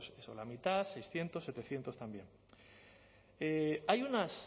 pues la mitad seiscientos setecientos también hay unos